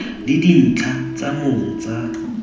le dintlha tsa mong tsa